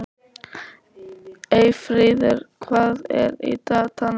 Eyfríður, hvað er í dagatalinu í dag?